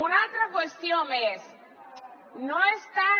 una altra qüestió més no és tant